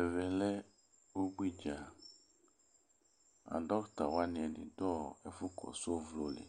Ɛvɛ lɛ ubui dza A dɔkta wani ɛdɩ dʋ ɔ ɛfʋ kɔsʋ ɔvlɔ li